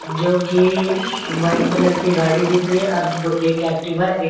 जोकि white colour की गाड़ी दिख रही है अर दो एक एक्टिवा ए--